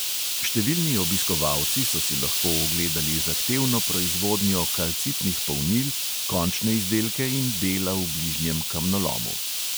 Številni obiskovalci so si lahko ogledali zahtevno proizvodnjo kalcitnih polnil, končne izdelke in dela v bližnjem kamnolomu.